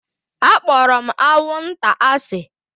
Akpọrọ m anwụnta asị